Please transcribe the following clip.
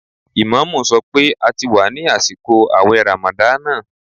Ìmáàmù sọ pé a ti wà ní àsìkò àwẹ̀ ràmàdánà